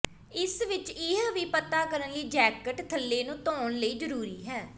ਇਸ ਵਿਚ ਇਹ ਵੀ ਪਤਾ ਕਰਨ ਲਈ ਜੈਕਟ ਥੱਲੇ ਨੂੰ ਧੋਣ ਲਈ ਜ਼ਰੂਰੀ ਹੈ